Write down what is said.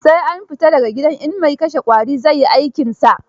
Sai an fita da ga gidan in mai kashe ƙwari zai yi aikinsa.